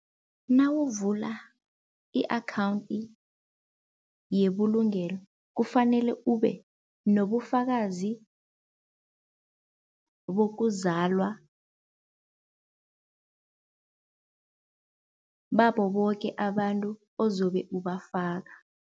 Nawuvula i-akhawundi yebulungelo kufanele ube nobufakazi bokuzalwa babo boke abantu ozobe ubafaka.